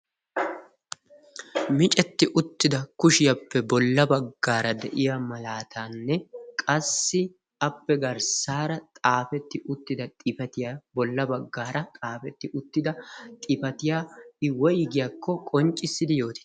Miccetti uttida kushiyappe bolla baggaara deiya malaatanne qassi appe garssara xaafeti uttida xifaatiya bolla baggaara xaafeti uttida xifaatiya i woyggidi qonccissiyako yootie?